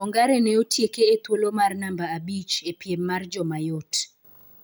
Ongare ne otieke e thuolo mar namba abich e piemmar joma yot